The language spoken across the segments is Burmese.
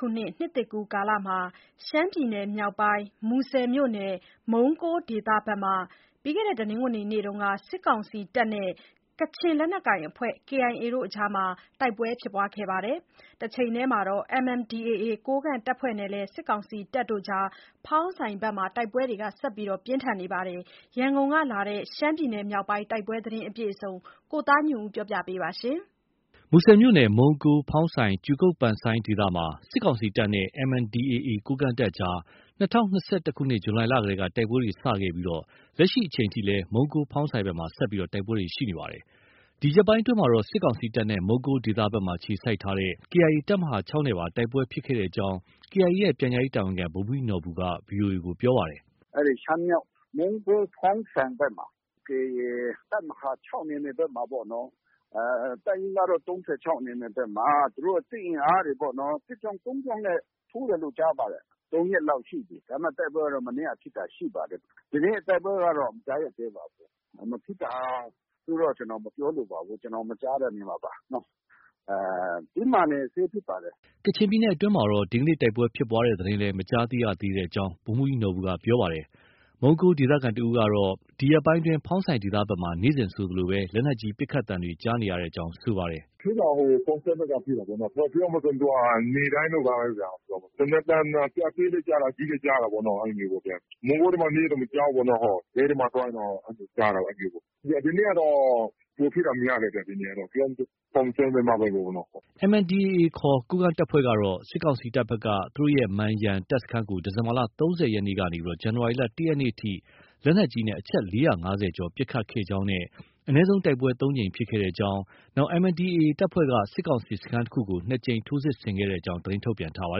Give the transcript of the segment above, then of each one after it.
ခုနှစ် နှစ်သစ်ကူးကာလမှာ ရှမ်းပြည်နယ်မြောက်ပိုင်း မူဆယ်မြို့နယ် မုံးကိုး ဒေသဘက်မှာ တနင်္ဂနွေနေ့က စစ်ကောင်စီတပ်နဲ့ ကချင်လက်နက်ကိုင် KIA အကြားမှာပါ တိုက်ပွဲတွေဖြစ်ပွားခဲ့ပါတယ်။ တချိန်တည်းမှာတော့ MNDAA ကိုးကန့်တပ်ဖွဲ့ နဲ့လည်း ဖောင်းဆိုင်ဘက်မှာ တိုက်ပွဲတွေ ဆက်လက်ပြင်းထန်နေပါတယ်။ ရန်ကုန် ကလာတဲ့ ရှမ်းပြည်နယ်မြောက်ပိုင်းတိုက်ပွဲသတင်းကို ကိုသားညွန့်ဦး တင်ပြထားပါတယ်။ မူဆယ်မြို့နယ် မုံးကိုး၊ ဖောင်းဆိုင်၊ ကြူကုတ် ဒေသမှာ စစ်ကောင်စီတပ်နဲ့ MNDAA ကိုးကန့်တပ်အကြားမှာ ၂၀၂၁ ခုနှစ် ဇူလိုင်လတည်းက တိုက်ပွဲတွေ စတင် ခဲ့ပြီး လက်ရှိအချိန်ထိလည်း မုံးကိုး၊ ဖောင်းဆိုင်ဘက်မှာ ဆက်လက်ဖြစ်ပွားနေပါတယ်။ ဒီရက်ပိုင်းအတွင်းမှာတော့ စစ်ကောင်စီတပ်နဲ့ မုံးကိုးဒေသဘက်မှာအခြေစိုက်ထားတဲ့ KIA တပ်မဟာ ၆ နဲ့ပါ တိုက်ပွဲဖြစ်ပွားခဲ့ကြောင်း KIA ရဲ့ ပြန်ကြားရေးတာဝန်ခံ ဗိုလ်မှူးကြီးနော်ဘူက VOA ကို ပြောပါတယ်။ “အဲဒီ ရှမ်းမြောက် မုံးကိုး၊ ဖောင်းဆိုင်ဘက်မှာ KIA တပ်မဟာ ၆ နယ်မြေဘက်မှာပေါ့နော်။ တပ်ရင်းကတော့ ၃၆ နယ်မြေဘက်မှာ သူတို့ စစ်အင်အားတွေပေါ့နော်၊ စစ် ကြောင်း ၃ ကြောင်းနဲ့ ထိုးတယ်လို့ ကြားပါတယ်။ ၃ ရက်လောက်ရှိပြီ။ ဒါပေမဲ့ တိုက်ပွဲကတော့ မနေ့က ဖြစ်တာရှိပါတယ်။ ဒီနေ့ တိုက်ပွဲကတော့ မကြားရသေးပါဘူး။ မဖြစ်တာလို့တော့ ကျနော် မပြောလိုပါဘူး။ ကျနော်မကြားတာနေမှာပါနော။ တင်းမာနေဆဲဖြစ်ပါတယ်။” ကချင်ပြည်နယ်အတွင်းမှာလည်း ဒီနေ့ တိုက်ပွဲဖြစ်ပွားတဲ့သတင်းလည်း မကြားသိရသေးကြောင်း ဗိုလ်မှူးကြီးနော်ဘူက ပြောပါတယ်။ မုံးကိုးဒေသခံတဦးကတော့ ဒီရက်ပိုင်းအတွင်း ဖောင်းဆိုင်ဒေသဘက်မှာ နေ့စဉ်ဆိုသလို လက်နက်ကြီး ပစ်ခတ်သံတွေ ကြားနေရကြောင်း ပြောပါတယ်။ “ဖြစ်တာက ဖောင်းဆိုင်ဘက်မှာဖြစ်တာပေါ့။ ပြောရမယ်ဆို နေ့တိုင်းလိုပါပဲဗျ။ သေနတ်သံ အသေးလည်းကြားတာ။ အကြီးလည်း ကြားတာပေါ့ဗျာနော် အဲလိုမျိုး။ မုံးကိုးထဲမှာနေရင်တော့ မကြားဘူးပေါ့။ လယ်ထဲမှာ သွားရင်တော့ ကြားတာပေါ့နော။ ဒီနေ့ကတော့ ပိုဖြစ်တာများတယ်ဗျ။ ဒီနေ့ကတော့ ပြောမယ်ဆို ဖောင်းဆိုင်ဘက်မှာပဲပေါ့နော။” MNDAA ခေါ် ကိုးကန့်တပ်ဖွဲ့ကတော့ စစ်ကောင်စီတပ်ဘက်က သူတို့ရဲ့ မန်ရန် တပ် စခန်းကို ဒီဇင်ဘာ ၃၀ ရက်နေ့ကနေ ဇန်နဝါရီလ ၁ ရက်နေ့အထိ လက်နက်ကြီးနဲ့ အချက် ၄၅၀ ကျော်ပစ်ခတ်ခဲ့ကြောင်း နဲ့ အနည်းဆုံးတိုက်ပွဲ ၃ ကြိမ်ဖြစ်ခဲ့ကြောင်း၊ MNDAA တပ်ဖွဲ့က စစ်ကောင်စီစခန်းတခုကို ၂ ကြိမ် ထိုးစစ်ဆင်ခဲ့ကြောင်း သတင်းထုတ်ပြန်ထားပါ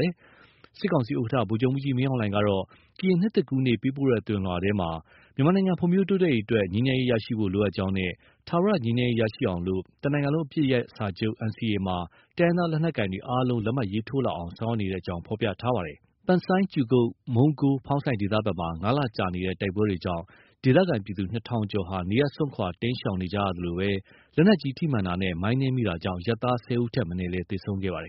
တယ်။ စစ်ကောင်စီဥက္ကဋ္ဌ ဗိုလ်ချုပ်မှူးကြီးမင်းအောင်လှိုင်ကတော့ ကရင်နှစ်သစ်ကူးနေ့ ပေးပို့တဲ့သဝဏ်လွှာမှာ မြန်မာနိုင်ငံဖွံ့ဖြိုးတိုးတက်ရေးအတွက် ငြိမ်းချမ်းရေးရရှိဖို့ လိုအပ်ကြောင်းနဲ့ ထာဝရငြိမ်းချမ်းရေးရရှိအောင် တနိုင်ငံလုံး အပစ်ရပ်စာချုပ် NCA မှာ တိုင်းရင်း သားလက်နက်ကိုင်များ အားလုံး လက်မှတ် ရေးထိုးလာအောင် ဆောင်ရွက်နေကြောင်း ဖော်ပြထားပါတယ်။ ပန်ဆိုင်း ၊ မုံးကိုး၊ ဖောင်းဆိုင်ဒေသဘက်မှာ ၅ လကြာနေတဲ့ တိုက်ပွဲတွေကြောင့် ဒေသခံပြည်သူ ၂ ထောင်ကျော်ဟာ နေရပ်စွန့်ခွာ တိမ်းရှောင်နေကြရသလို လက်နက်ကြီးထိမှန်တာနဲ့ မိုင်းနင်းမိတာကြောင့် အရပ်သား ၁၀ ဦးထက်မနည်း သေဆုံးခဲ့ပါတယ်